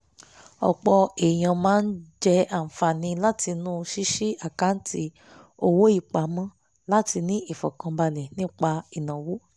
ọ̀pọ̀ èèyàn má ń jẹ àǹfààní látinú ṣíṣí àkáǹtì owó ìpamọ́ láti ní ìfọ̀kànbalẹ̀ nípa ìnáwó